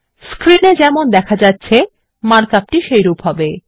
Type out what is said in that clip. screen এ যেমন দেখা যাচ্ছে মার্ক আপ টি সেইরূপ হবে